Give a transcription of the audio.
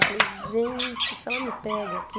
Eu falei, gente, se ela me pega aqui...